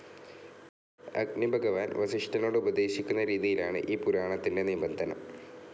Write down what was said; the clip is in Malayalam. അഗ്നിഭഗവാൻ വസിഷ്ഠനോടുപദേശിക്കുന്ന രീതിയിലാണ് ഈ പുരാണത്തിൻ്റെ നിബന്ധനം.